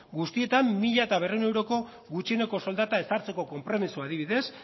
guztietan mila berrehun euroko gutxieneko soldata ezartzeko konpromezua adibidez